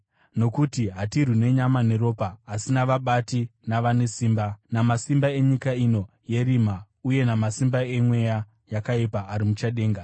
Nokuti hatirwi nenyama neropa, asi navabati, navanesimba, namasimba enyika ino yerima uye namasimba emweya yakaipa ari muchadenga.